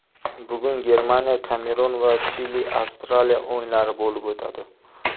Bugun GermaniyaKamerun va ChiliAvstraliya o‘yinlari bo‘lib o‘tadi.